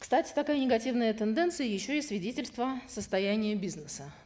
кстати такая негативная тенденция еще и свидетельство состояния бизнеса